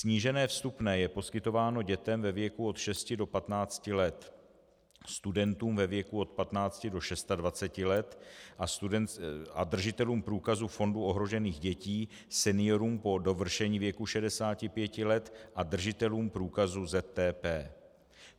Snížené vstupné je poskytováno dětem ve věku od 6 do 15 let, studentům ve věku od 15 do 26 let a držitelům průkazu Fondu ohrožených dětí, seniorům po dovršení věku 65 let a držitelům průkazu ZTPP.